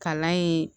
Kalan ye